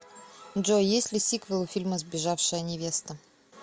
джой есть ли сиквел у фильма сбежавшая невеста